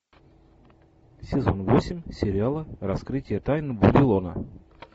сезон восемь сериала раскрытие тайн вавилона